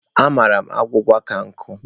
Amara m agwụgwa ọ ka nkụ.